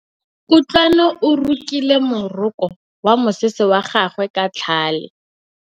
Kutlwanô o rokile morokô wa mosese wa gagwe ka tlhale.